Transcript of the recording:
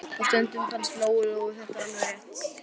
Og stundum fannst Lóu Lóu þetta vera alveg rétt.